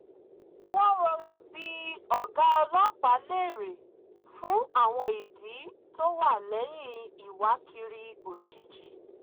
wọ́n rọra bi ọ̀gá ọlọ́pàá léèrè fún àwọn ìdí tó wà lẹ́yìn ìwákiri ójijì